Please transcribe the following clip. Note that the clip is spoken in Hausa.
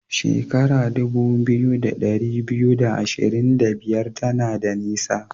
Shekara dubu biyu da dari biyu da ashirin da biyar tana da nisa.